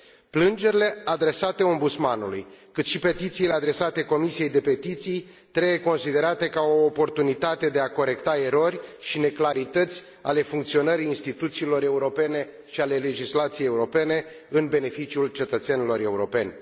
Plângerile adresate Ombudsmanului, cât și petițiile adresate Comisiei pentru petiții trebuie considerate ca o oportunitate de a corecta erori și neclarități ale funcționării instituțiilor europene și ale legislației europene în beneficiul cetățenilor europeni.